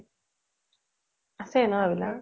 আছে ন এইবিলাক ।